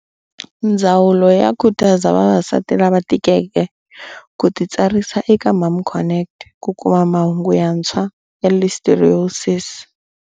Ndzawulo yi khutaza vavasati lava tikeke ku titsarisa eka MomConnect ku kuma mahungu yantshwa ya Listeriosis.